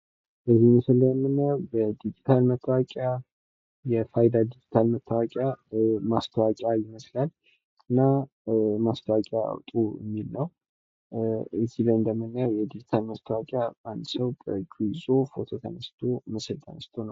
በዚህ ምስል ላይ የምናየው የዲጂታል መታወቂያ የፋይዳ የዲጂታል መታወቂያ ማስታወቂያ ይመስላል። እና ማስታወቂያ አውጡ የሚል ነው። እዚህ ላይ እንደምናየው የዲጂታል መታወቂያ አንድ ሰው በእጁ ይዞ ፎቶ ተነስቶ ነው ።